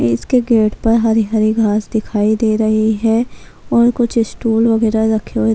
اس کے گیٹ پر ہری ہری گاس دکھائی دے رہی ہے اور کچھ اس ٹول وغیرہ رکھے--